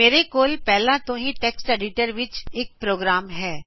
ਮੇਰੇ ਕੋਲ ਪਹਿਲਾ ਤੋ ਹੀ ਟੈਕਸਟ ਐਡਿਟਰ ਵਿਚ ਇਕ ਪ੍ਰੋਗਰਾਮ ਹੈ